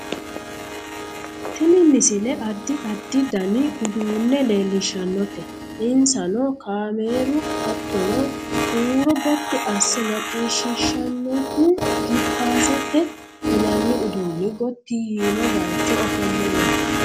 tini misile addi addi dani uduunne leellishshannote insano kameeru hattono huuro gotti asse macciishsiihshannohu jippaazete yinanni uduunni gotti yiino bayeecho ofolle no